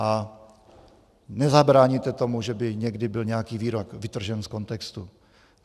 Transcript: A nezabráníte tomu, že by někdy byl nějaký výrok vytržen z kontextu.